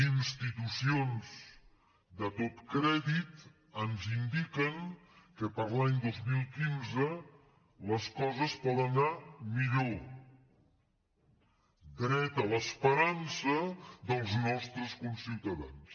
institu·cions de tot crèdit ens indiquen que per a l’any dos mil quinze les coses poden anar millor dret a l’esperança dels nostres conciutadans